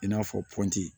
I n'a fɔ